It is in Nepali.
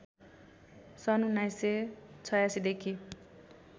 सन् १९८६ देखि